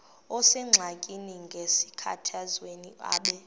osengxakini nasenkathazweni abe